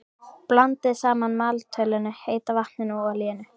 Blandið saman maltölinu, heita vatninu og olíunni.